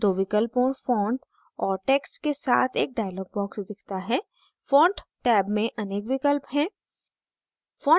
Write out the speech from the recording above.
दो विकल्पों font और text के साथ एक dialog box दिखता है font टैब में अनेक विकल्प हैं